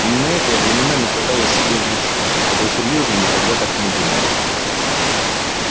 именно это я временами пыталась себе внушить хотя серьёзно никогда так не думала